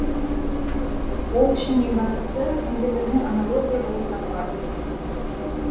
ол үшін ең бастысы компьютермен аналогия болып табылады